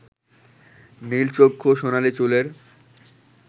নীলচক্ষু সোনালী চুলের